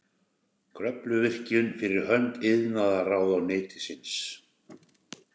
Kröfluvirkjun fyrir hönd iðnaðarráðuneytisins.